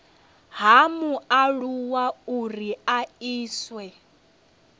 ha mualuwa uri a iswe